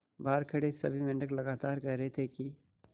बहार खड़े सभी मेंढक लगातार कह रहे थे कि